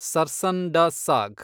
sarson da ಸಾಗ್